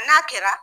N'a kɛra